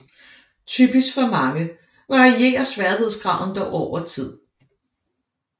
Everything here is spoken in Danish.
Typisk for mange varierer sværhedsgraden dog over tid